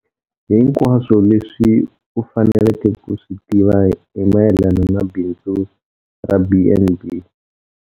Hinkwaswo leswi u faneleke ku swi tiva hi mayelana na bindzu ra B and B.